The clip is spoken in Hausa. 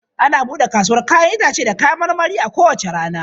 Ana buɗe kasuwar 'ya'yan itace da kayan marmari a kowace rana.